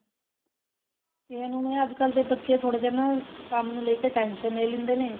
ਅੱਜਕਲ ਦੇ ਬੱਚੇ ਥੋੜੇ ਜੇ ਨਾ ਕੰਮ ਨੂੰ ਲੈ ਕੇ tension ਲੈ ਲੈਂਦੇ ਨੇ